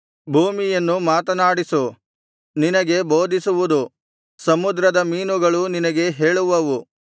ಭೂಮಿಯನ್ನು ಮಾತನಾಡಿಸು ನಿನಗೆ ಬೋಧಿಸುವುದು ಸಮುದ್ರದ ಮೀನುಗಳು ನಿನಗೆ ಹೇಳುವವು